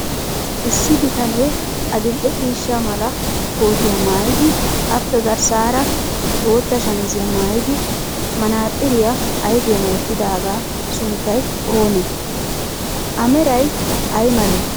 Issi bitanee adil"e ciishsha mala kootiya maayidi aappe garssaara bootta shamiziya maayidi manaaxxiriya ayifiyan wottidaagaa sunttay oonee? A meray ay malee?